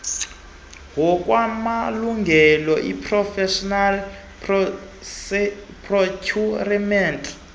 ngokwamalungelo ipreferential procurement